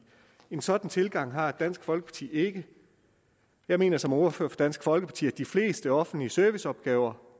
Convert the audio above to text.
en sådan tilgang har dansk folkeparti ikke jeg mener som ordfører for dansk folkeparti at de fleste offentlige serviceopgaver